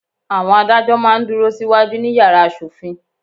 Àwọn adájọ́ máa ń dúró sí wájú ní yàrá asòfin.